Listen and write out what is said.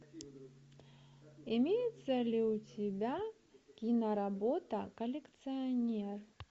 имеется ли у тебя киноработа коллекционер